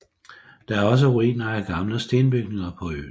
Der er også ruiner af gamle stenbygninger på øen